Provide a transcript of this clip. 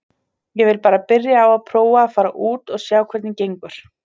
Ég vil bara byrja á að prófa að fara út og sjá hvernig gengur.